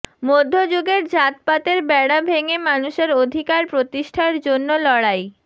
মধ্যযুগের জাতপাতের বেড়া ভেঙে মানুষের অধিকার প্রতিষ্ঠার জন্য লড়াই